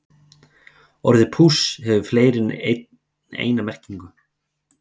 Orðið púss hefur fleiri en eina merkingu.